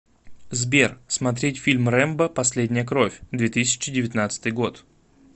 сбер смотреть фильм рэмбо последняя кровь две тысячи девятнадцатый год